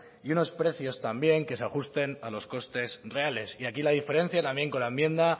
y unos precios también que se ajusten a los costes reales y aquí la diferencia también con la enmienda